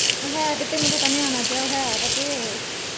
ਹੈਗੇ ਤੇ ਨੇ ਪਤਾ ਨਿਆਣਾ ਜੇਹਾ ਹੈ ਵੇ ਤੇ।